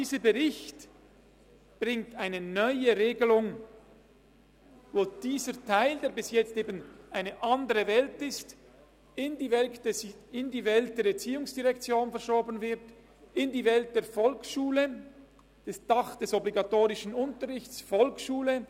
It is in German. Dieser Bericht bringt eine neue Regelung, durch welche der Teil, der bisher zu einer anderen Welt gehörte, in die Welt der ERZ verschoben wird, in die Welt der Volksschule, unter das Dach des obligatorischen Unterrichts in der Volksschule: